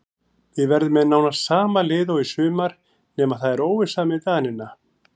Við verðum með nánast sama lið og í sumar nema það er óvissa með Danina.